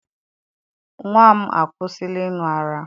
Nnwa m akwụsịla ịṅụ ara